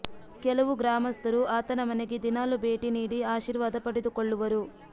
ಕೆಲವು ಗ್ರಾಮಸ್ಥರು ಆತನ ಮನೆಗೆ ದಿನಾಲೂ ಭೇಟಿ ನೀಡಿ ಆಶೀರ್ವಾದ ಪಡೆದುಕೊಳ್ಳುವರು